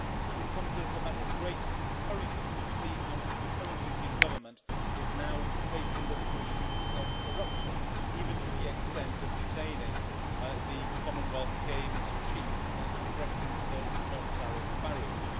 It is a great encouragement to see how the current Indian Government is now facing up to issues of corruption, even to the extent of detaining the Commonwealth Games Chief, and addressing those non tariff barriers.